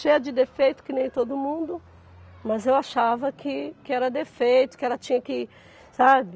Cheia de defeito, que nem todo mundo, mas eu achava que que era defeito, que ela tinha que, sabe?